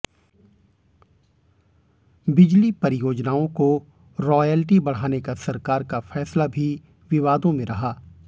बिजली परियोजनाओं को रॉयल्टी बढ़ाने का सरकार का फैसला भी विवादों में रहा